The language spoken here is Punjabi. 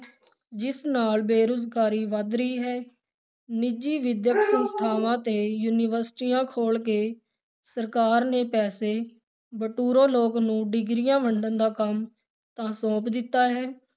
ਜਿਸ ਨਾਲ ਬੇਰੁਜ਼ਗਾਰੀ ਵੱਧ ਰਹੀ ਹੈ, ਨਿੱਜੀ ਵਿੱਦਿਅਕ ਸੰਸਥਾਵਾਂ ਤੇ ਯੂਨੀਵਰਸਿਟੀਆਂ ਖੋਲ੍ਹ ਕੇ ਸਰਕਾਰ ਨੇ ਪੈਸੇ ਬਟੋਰ ਲੋਕ ਨੂੰ ਡਿਗਰੀਆਂ ਵੰਡਣ ਦਾ ਕੰਮ ਤਾਂ ਸੌਂਪ ਦਿੱਤਾ ਹੈ,